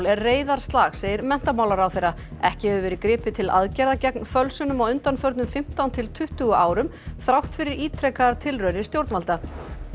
er reiðarslag segir menntamálaráðherra ekki hefur verið gripið til aðgerða gegn fölsunum á undanförnum fimmtán til tuttugu árum þrátt fyrir ítrekaðar tilraunir stjórnvalda